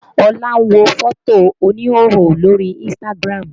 Olá ń wo fótò oníhòòhò lórí Instagram